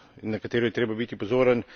na katero je treba biti pozoren.